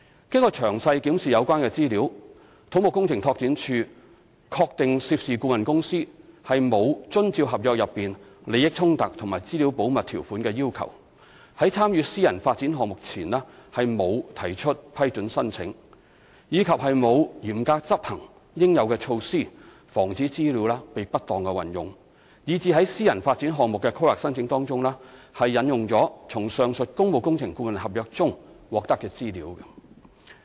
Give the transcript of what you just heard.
經詳細檢視有關資料，土木工程拓展署確定涉事顧問公司沒有遵照合約內利益衝突和資料保密條款的要求，在參與私人發展項目前沒有提出批准申請，以及沒有嚴格執行應有的措施防止資料被不當運用，以致在私人發展項目的規劃申請中引用從上述工務工程顧問合約中獲得的資料。